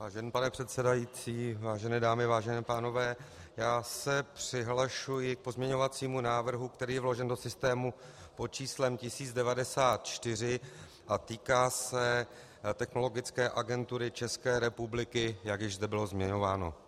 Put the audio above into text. Vážený pane předsedající, vážené dámy, vážení pánové, já se přihlašuji k pozměňovacímu návrhu, který je vložen do systému pod číslem 1094 a týká se Technologické agentury České republiky, jak již zde bylo zmiňováno.